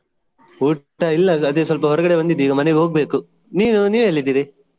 ಊಟ ಇಲ್ಲ ಅದೇ ಸ್ವಲ್ಪ ಹೊರಗಡೆ ಬಂದಿದ್ದೆ ಈಗ ಮನೆಗೆ ಹೋಗ್ಬೇಕು ನೀವು ನೀವೆಲ್ಲಿದ್ದೀರಿ ?